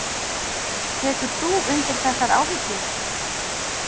Tekur þú undir þessar áhyggjur?